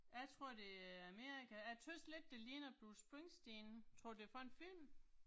Jeg tror det er Amerika, jeg tøvs lidt det ligner Bruce Springsteen, tror du det er fra en film?